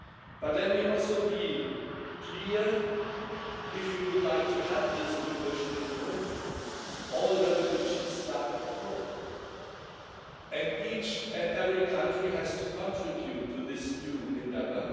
But let me also be clear that if we would like to have this new vision in Europe, all revolutions start at home and each and every country has to contribute to this new endeavour.